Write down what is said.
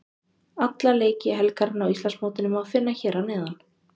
Alla leiki helgarinnar á Íslandsmótinu má finna hér að neðan.